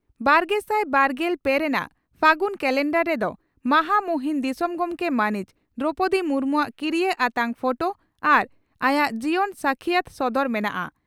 ᱵᱟᱨᱜᱮᱥᱟᱭ ᱵᱟᱨᱜᱮᱞ ᱯᱮ ᱨᱮᱱᱟᱜ ᱯᱷᱟᱹᱜᱩᱱ ᱠᱟᱞᱮᱱᱰᱟᱨ ᱨᱮᱫᱚ ᱢᱟᱦᱟᱢᱚᱦᱤᱱ ᱫᱤᱥᱚᱢ ᱜᱚᱢᱠᱮ ᱢᱟᱹᱱᱤᱡ ᱫᱨᱚᱣᱯᱚᱫᱤ ᱢᱩᱨᱢᱩᱣᱟᱜ ᱠᱤᱨᱤᱭᱟᱹ ᱟᱛᱟᱝ ᱯᱷᱚᱴᱚ ᱟᱨ ᱟᱭᱟᱜ ᱡᱤᱭᱚᱱ ᱥᱟᱹᱠᱷᱤᱭᱟᱹᱛ ᱥᱚᱫᱚᱨ ᱢᱮᱱᱟᱜᱼᱟ ᱾